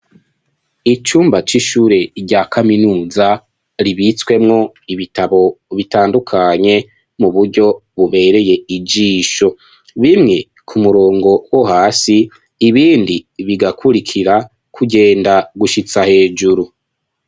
Icumba c'ishure rya kaminuza ribitswemwo ibitabo bitandukanye mu buryo bubereye ijisho bimwe ku murongo wo hasi ibindi bigakurikira kugenda gushitsa hejuru.